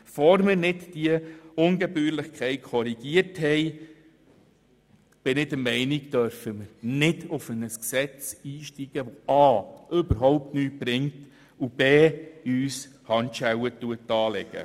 Bevor wir nicht diese Ungebührlichkeit korrigiert haben, dürfen wir meiner Ansicht nach nicht auf ein Gesetz einsteigen, dass a) überhaupt nichts bringt und uns b) Handschellen anlegt.